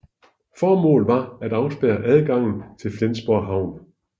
Formålet var at afspærre adgangen til Flensborg havn